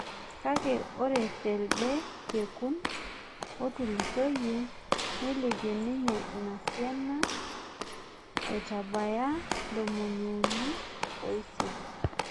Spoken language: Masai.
kake ore telde kekun otulusoyie nilpie ninye ina siana aitabaya ntomoni uni osiet